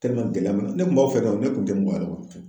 gɛlɛya bɛ n na ne kun b'aw fɛ ka ne kun tɛ yɛrɛ kɔnɔ tuguni